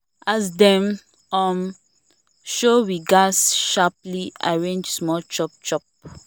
as dem um show we gats sharply arrange small chop chop